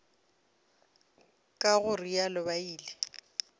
ka go realo ba ile